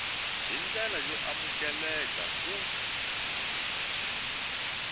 hi ndlela y amukeleka ku